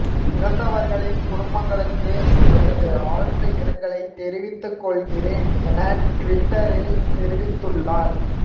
இறந்தவர்களின் குடும்பங்களுக்கு எனது ஆழ்ந்த இரங்கலை தெரிவித்து கொள்கிறேன் என ட்விட்டரில் தெரிவித்துள்ளார்